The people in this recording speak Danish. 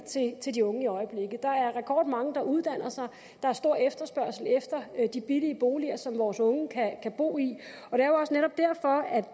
til de unge der er rekordmange der uddanner sig og der er stor efterspørgsel efter de billige boliger som vores unge kan bo i